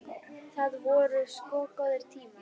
Það voru sko góðir tímar.